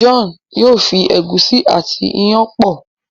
John yóò fẹ egusi àti iyán pọ